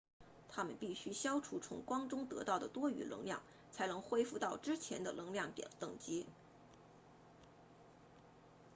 它们必须消除从光中得到的多余能量才能恢复到之前的能量等级